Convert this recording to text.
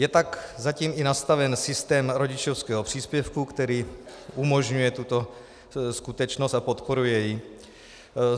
Je tak zatím i nastaven systém rodičovského příspěvku, který umožňuje tuto skutečnost a podporuje ji.